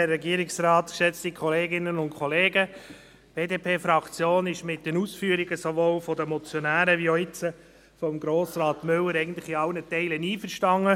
Die BDP-Fraktion ist mit den Ausführungen sowohl der Motionäre als auch jetzt von Grossrat Müller eigentlich in allen Teilen einverstanden.